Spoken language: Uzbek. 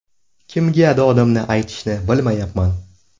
Kimga dodimni aytishni bilmayapman”.